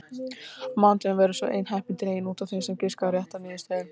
Á mánudögum verður svo einn heppinn dreginn út af þeim sem giskaði á rétta niðurstöðu.